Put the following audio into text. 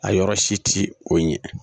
A yɔrɔ si ti o ɲɛ